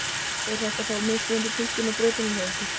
Er þetta þá mismunandi túlkun á brotinu hjá ykkur?